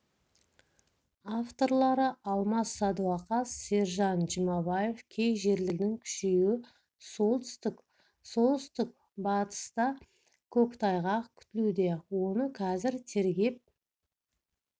авторлары алмас садуақас сержан жұмабаев кей жерлерде тұман желдің күшеюі солтүстік солтүстік-батыстакөктайғақ күтілуде оны қазір тергеп